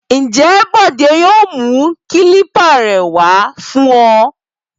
Ǹjẹ́ Bọ̀dé yóò mú kílípà rẹ wá fún ọ?